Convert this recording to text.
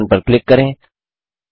play button पर click करें